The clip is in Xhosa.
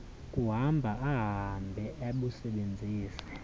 kuhamba ahambe abusebenzise